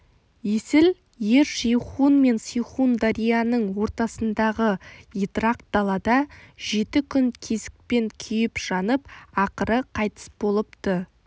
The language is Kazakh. есіл ер жейхун мен сейхун дарияның ортасындағы етрақ далада жеті күн кезікпен күйіп-жанып ақыры қайтыс болыпты